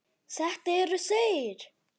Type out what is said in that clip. Þetta eru þeir.